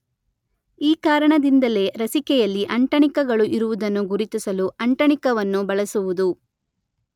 ಈ ಕಾರಣದಿಂದಲೇ ರಸಿಕೆಯಲ್ಲಿ ಅಂಟಣಿಕಗಳು ಇರುವುದನ್ನು ಗುರುತಿಸಲು ಅಂಟಣಿಕವನ್ನು ಬಳಸುವುದು.